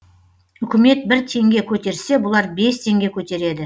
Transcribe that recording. үкімет бір теңге көтерсе бұлар бес теңге көтереді